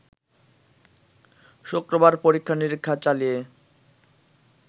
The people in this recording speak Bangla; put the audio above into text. শুক্রবার পরীক্ষা-নিরীক্ষা চালিয়ে